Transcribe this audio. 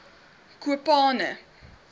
kopane